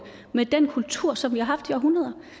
med den kultur som vi har haft i århundreder